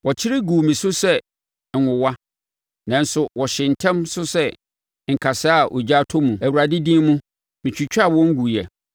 Wɔkyere guu me so sɛ nwowa, nanso wɔhyee ntɛm so sɛ nkasɛɛ a ogya atɔ mu; Awurade din mu metwitwaa wɔn guiɛ.